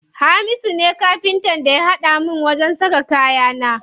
Hamisu ne Kafintan da ya haɗa min wajen saka kayana.